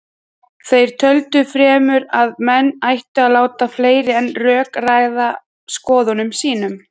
Þeir töldu fremur að menn ættu að láta fleira en rök ráða skoðunum sínum.